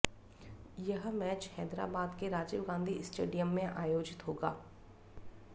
यह मैच हैदराबाद के राजीव गांधी स्टेडियम में आयोजित होगा